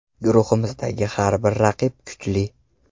Guruhimizdagi har bir raqib kuchli.